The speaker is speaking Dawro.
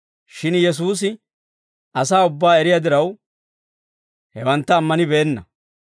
Shin Yesuusi asaa ubbaa eriyaa diraw, hewantta ammanibeenna.